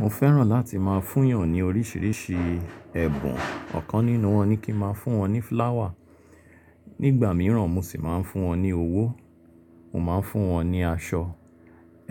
Mo fẹ́ràn láti máa fún èèyàn ní oríṣìíríṣìí ẹ̀bùn. Ọ̀kan nínú wọn ni kí n máa fún wọn ní flower. Ní ìgbà mìíràn mo sì máa ń fún wọn ní owó, mo máa ń fún wọn ní aṣọ.